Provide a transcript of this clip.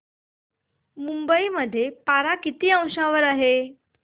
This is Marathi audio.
मुंबई मध्ये पारा किती अंशावर आहे